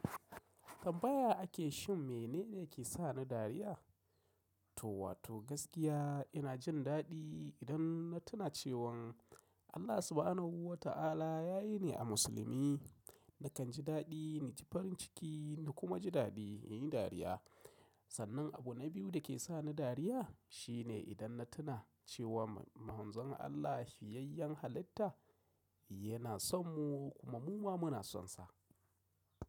Tambaya ake shin mene ne ke sa ni dariya? To wato gaskiya ina jin daɗi idan na tuna cewan Allah Subahanahu wa Ta'ala ya yi ni a musulmi. Nakan ji daɗi, ni jifarin ciki na kuma ji daɗi, yin dariya. Sannan abu na biyu da ke sa ni dariya shine idan na tuna cewa Manzon Allah, shiyayyen halitta yana son mu kuma muma muna son sa.